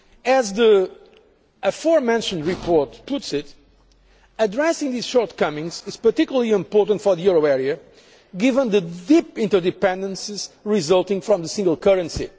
As the aforementioned report puts it, addressing these shortcomings is particularly important for the euro area, given the deep interdependences resulting from the single currency.